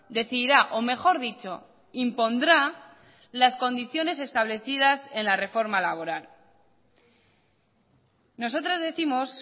decidirá o mejor dicho impondrá las condiciones establecidas en la reforma laboral nosotras décimos